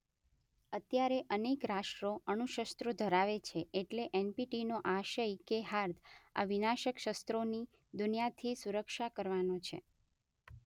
અત્યારે અનેક રાષ્ટ્રો અણુશસ્ત્રો ધરાવે છે એટલે એનપીટીનો આશય કે હાર્દ આ વિનાશક શસ્ત્રોથી દુનિયાની સુરક્ષા કરવાનો છે.